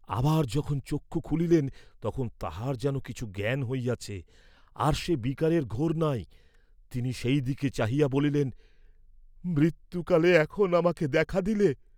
আবার যখন চক্ষু খুলিলেন, তখন তাঁহার যেন কিছু জ্ঞান হইয়াছে, আর সে বিকারের ঘোর নাই, তিনি সেই দিকে চাহিয়া বলিলেন মৃত্যুকালে এখন আমাকে দেখা দিলে?